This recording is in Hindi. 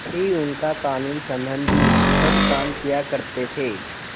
ही उनका कानूनसम्बन्धी सब काम किया करते थे